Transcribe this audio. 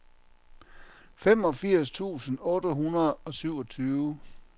femogfirs tusind otte hundrede og syvogtyve